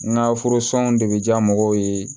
N ka furu sɔn de bɛ diya mɔgɔw ye